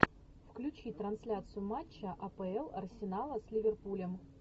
включи трансляцию матча апл арсенала с ливерпулем